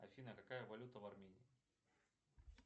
афина какая валюта в армении